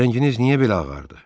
Rənginiz niyə belə ağardı?